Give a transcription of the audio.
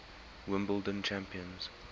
wimbledon champions